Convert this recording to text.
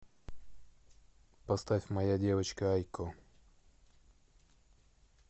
поставь моя девочка айко